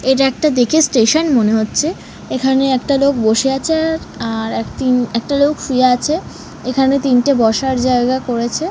এটা একটা দেখে স্টেশন মনে হচ্ছে এখানে একটা লোক বসে আছে আর আর তিন একটা লোক শুয়ে আছে এখানে তিনটে বসার জায়গা করেছে।